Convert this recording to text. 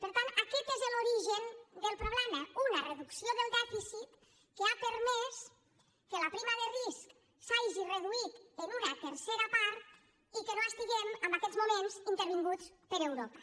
per tant aquest és l’origen de problema una reducció del dèficit que ha permès que la prima de risc s’hagi reduït en una tercera part i que no estiguem en aquests moments intervinguts per europa